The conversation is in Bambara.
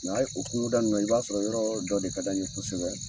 Ni y'an ye o kungoda in na, i b'a sɔrɔ yɔrɔ dɔ de ka d'an ye kosɛbɛ.